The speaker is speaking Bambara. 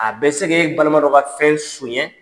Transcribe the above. A bɛ se k'e balima dɔ ka fɛn son ɲɛ.